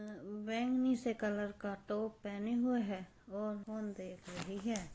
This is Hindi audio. बैंगनी से कलर का टॉप पहने हुए है और फोन देख रही है।